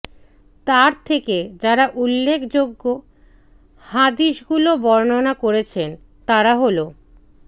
তার থেকে যারা উল্লেখযোগ্য হাদিসগুলি বর্ণনা করেছেনঃ তারা হলঃ